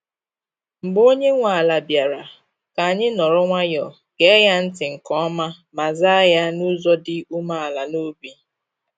Mgbe onye nwe ala bịara, ka anyị nọrọ nwayọọ, gee ya ntị nke ọma, ma zaa ya n’ụzọ dị umeala n’obi.